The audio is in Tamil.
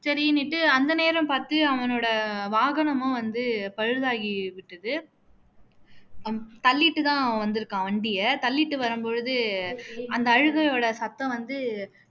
சரின்னுட்டு அந்த நேரம் பாத்து அவனோட வாகனமும் வந்து பழுதாகிட்டு விட்டது தள்ளிட்டு தான் வந்துருக்கான் வண்டிய தள்ளிட்டு வரும் போது அந்த அழுகையோட சத்தம் வந்து